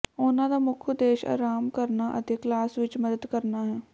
ਉਨ੍ਹਾਂ ਦਾ ਮੁੱਖ ਉਦੇਸ਼ ਅਰਾਮ ਕਰਨਾ ਅਤੇ ਕਲਾਸ ਵਿਚ ਮਦਦ ਕਰਨਾ ਹੈ